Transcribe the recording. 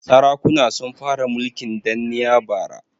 Sarakuna sun fara mulkin danniya bara.